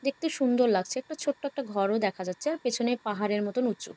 দেখতে সুন্দর লাগছে। একটা ছোট্ট ঘরও দেখা যাচ্ছে। পেছনে পাহাড়ের মত উঁচু।